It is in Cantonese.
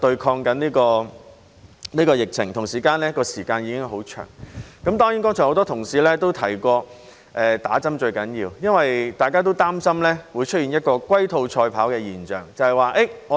很多同事剛才提到接種疫苗最重要，因為大家也擔心會出現一種龜兔賽跑的現象。